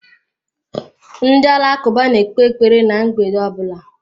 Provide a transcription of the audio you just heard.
Ndị Alakụba na-ekpe ekpere ná mgbede ọ bụla.